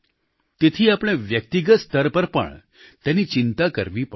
તેથી આપણે વ્યક્તિગત સ્તર પર પણ તેની ચિંતા કરવી પડશે